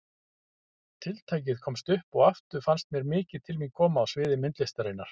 Tiltækið komst upp og aftur fannst mér mikið til mín koma á sviði myndlistarinnar.